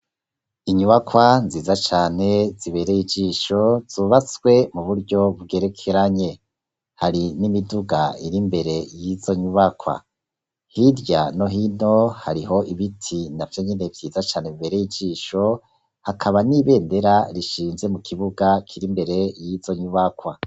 Inyubakwa nziza cane zibereye ijisho zubatswe muburyo bugerekeranye Hari nimiduga iri imbere yizo nyubakwa hirya no hino hariho ibiti navyonyene vyiza cane bibereye ijisho hakaba ni bendera rishinze mukibuga kiri imbere yizo nyubakwa